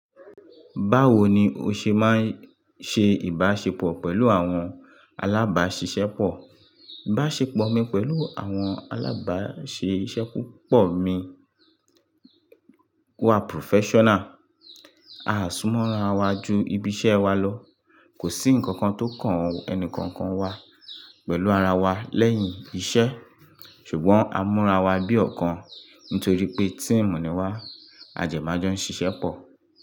Báwo ni o ṣe máa ń ṣe ìbáṣepọ̀ pẹ̀lú àwọn alábáṣiṣẹ́ pọ̀? Ìbáṣepọ̀ mi pẹ̀lú àwọn alábáṣiṣẹ́ púpọ̀ mi wà professional. A súnmọ́ ara wa ju ibi iṣẹ́ wa lọ. Kò sí ǹkan kan tó kàn ẹnì kankan wa pẹ̀lú ara wa lẹ́yìn iṣẹ́. Ṣùgbọ́n a múra wa bí ọ̀kan nítorí pé team ni wà. A dẹ mà jọ ń ṣiṣẹ́ pọ̀.